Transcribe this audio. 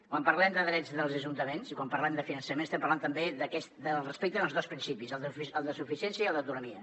quan parlem de drets dels ajuntaments i quan parlem de finançament estem parlant també del respecte a dos principis el de suficiència i el d’autonomia